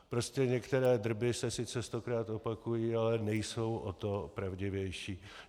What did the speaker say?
Prostě některé drby se sice stokrát opakují, ale nejsou o to pravdivější.